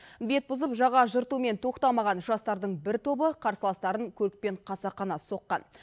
бет бұзып жаға жыртумен тоқтамаған жастардың бір тобы қарсыластарын көлікпен қасақана соққан